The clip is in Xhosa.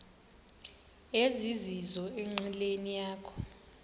ezizizo enqileni yakho